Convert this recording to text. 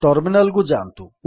terminal କୁ ଯାଆନ୍ତୁ